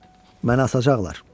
Məni asacaqlar.